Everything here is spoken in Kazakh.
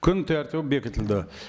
күн тәртібі бекітілді